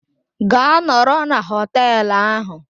Gaa nọrọ na hoteelu ahụ!